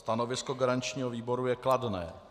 Stanovisko garančního výboru je kladné.